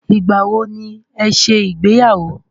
Ìgbà wọ ní ẹ ṣe ìgbéyàwó?